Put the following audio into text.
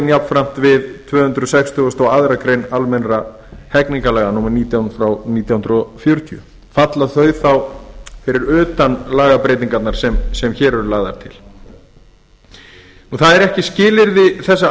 jafnframt við tvö hundruð sextugustu og aðra grein almennra hegningarlaga númer nítján nítján hundruð fjörutíu falla þau þá utan lagabreytinganna sem hér eru lagðar til það er ekki skilyrði þessa